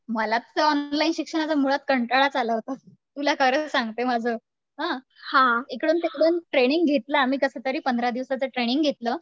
मला तर ऑनलाईन शिक्षणाचा मुळात कंटाळाच आला होता. तुला कारण सांगते आता हं एका ट्रेनिंग घेतल्या आम्ही कसं तरी पंधरा दिवसाचं ट्रेंनिंग घेतलं